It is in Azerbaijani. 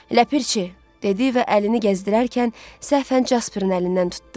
Ləpirçi dedi və əlini gəzdirərkən səhfən Casperin əlindən tutdu.